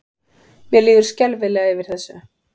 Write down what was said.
Mér líður skelfilega yfir þessu.